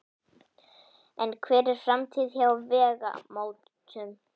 En hver er framtíðin hjá Vegamótum?